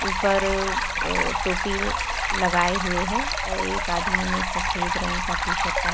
ऊपर अ अ टोपी लगाए हुए हैं एक आदमी ने सफेद रंग का टी-शर्ट पहन --